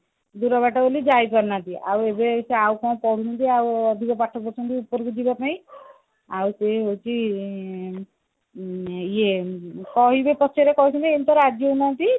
ଦୂର ବାଟ ବୋଲି ଯାଇ ପାରୁନାହାନ୍ତି ଆଉ ଏବେ ସେ ଆଉ କଣ ପଢୁଛନ୍ତି ଆଉ ଅଧିକ ପାଠ ପଢୁଛନ୍ତି ଉପରକୁ ଯିବା ପାଇଁ ଆଉ ସେ ହଉଛି ଉଁ ଇଏ କହିବେ ପଛରେ କହୁଛନ୍ତି ଏମତି ତ ରାଜି ହଉ ନାହାନ୍ତି